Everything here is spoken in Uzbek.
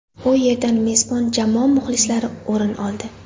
U yerdan mezbon jamoa muxlislari o‘rin oldi.